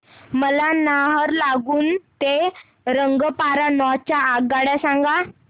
मला नाहरलागुन ते रंगपारा नॉर्थ च्या आगगाड्या सांगा